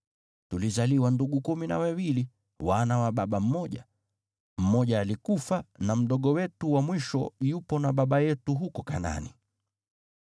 Tulizaliwa ndugu kumi na wawili, wana wa baba mmoja. Mmoja alikufa, na mdogo wetu wa mwisho yupo na baba yetu huko Kanaani.’